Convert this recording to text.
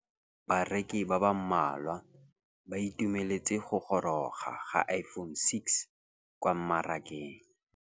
Bareki ba ba malwa ba ituemeletse go gôrôga ga Iphone6 kwa mmarakeng.